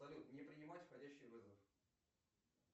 салют не принимать входящие вызовы